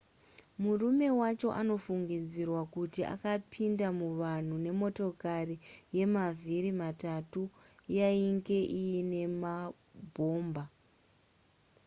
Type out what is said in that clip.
murume wacho anofungidzirwa kuti akapinda muvanhu nemotokari yemavhiri matatu yainge iine mabhomba